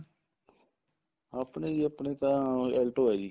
ਆਪਣੇ ਜੀ ਆਪਣੇ ਤਾਂ alto ਆ ਜੀ